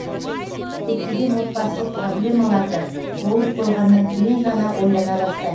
көптеген отбасылық проблемаларды болып қойғаннан кейін ғана ойлана бастаймыз